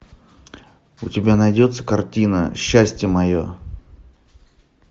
у тебя найдется картина счастье мое